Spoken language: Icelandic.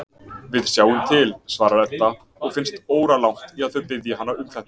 Við sjáum til, svarar Edda og finnst óralangt í að þau biðji hana um þetta.